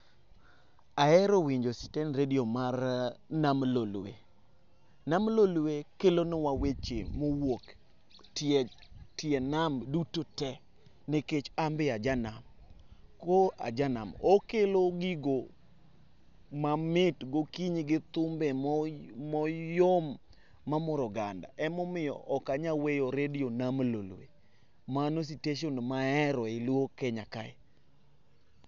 Aero winjo sitend redio mar nam lolwe. Nam lolwe kelonwa weche mowuok etie tie nam dutote nikech ambe ajanam. ko ajanam okelo gigo mamit gokinyi gi thumbe mo moyom mamoro oganda ema omiyo okanya weyo redio nam lolwe mano siteshon maero eyi luo kenya kae.